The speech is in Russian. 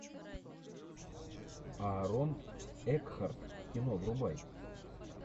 аарон экхарт кино врубай